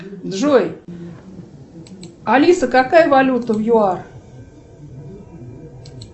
джой алиса какая валюта в юар